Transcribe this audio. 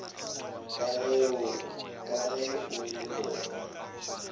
ka ge o re bona